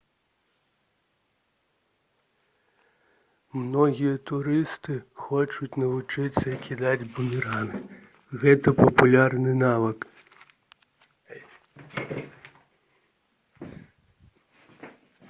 многія турысты хочуць навучыцца кідаць бумеранг гэта папулярны навык